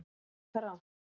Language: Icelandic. Það er líka rangt.